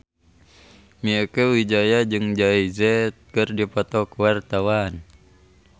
Mieke Wijaya jeung Jay Z keur dipoto ku wartawan